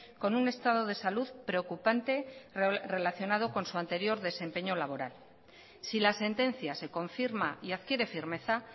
con un estado de salud preocupante relacionado con su anterior desempeño laboral si la sentencia se confirma y adquiere firmeza